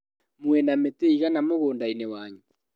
Mwĩna mĩtĩ ĩigana mũgũndainĩ wanyu?